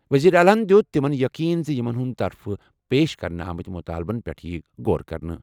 وزیر اعلیٰ ہَن دِیُت تِمَن یقین زِ یِمَن ہٕنٛدِ طرفہٕ پیش کرنہٕ آمٕتۍ مُطالبَن پٮ۪ٹھ یِیہِ غور کرنہٕ۔